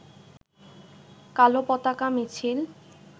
কালো পতাকা মিছিল